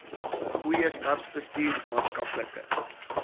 goeie staatsbestuur maatskaplike